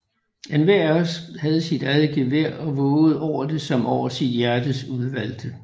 Enhver af os havde sit eget gevær og vågede over det som over sit hjertes udvalgte